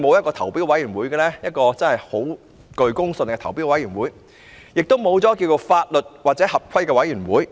為何現時會沒有具公信力的投標委員會，亦沒有法律或合規委員會呢？